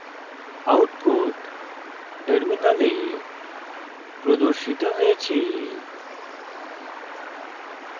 output terminal প্রদর্শিত হয়েছে